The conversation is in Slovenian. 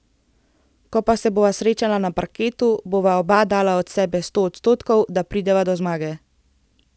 Ko pa se bova srečala na parketu, bova oba dala od sebe sto odstotkov, da prideva do zmage.